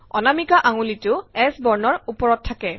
অনামিকা আঙুলিটো S বৰ্ণৰ ওপৰত থাকে